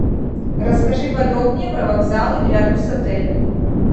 расскажи подробнее про вокзалы рядом с отелем